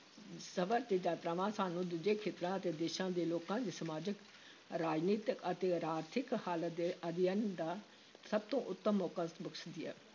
ਸਫ਼ਰ ਤੇ ਯਾਤਰਾਵਾਂ ਸਾਨੂੰ ਦੂਜੇ ਖੇਤਰਾਂ ਅਤੇ ਦੇਸ਼ਾਂ ਦੇ ਲੋਕਾਂ ਦੀ ਸਮਾਜਿਕ, ਰਾਜਨੀਤਿਕ ਅਤੇ ਆਰਥਿਕ ਹਾਲਤ ਦੇ ਅਧਿਐਨ ਦਾ ਸਭ ਤੋਂ ਉੱਤਮ ਮੌਕਾ ਬਖਸ਼ਦੀ ਹੈ।